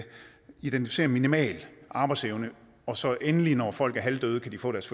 identificere minimal arbejdsevne og så endelig når folk er halvdøde kan de få deres